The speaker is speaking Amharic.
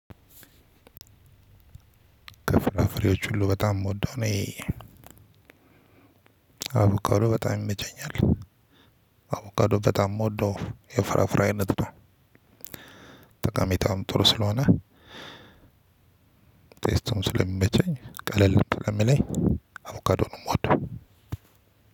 ከፍራፍሬዎች ሁሉ በጣም የምወደው እኔ አቡካዶ በጣም ይመቸኛል አቡካዶ በጣም የምወደው የፍራፍራ አይነት ነው። ጠቃሚታውም ጥሩ ስለሆነ ቴስቱም ስለሚመቸኝ ቀለል ስለሚለኝ አቮካዶ ነው የምወደው።